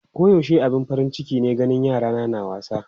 Koyaushe abin farin ciki ne ganin yarana na wasa.